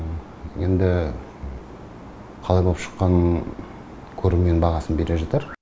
енді қалай боп шыққанын көрермен бағасын бере жатар